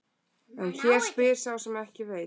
En hér spyr sá sem ekki veit.